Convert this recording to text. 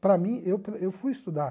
Para mim, eu pra eu fui estudar.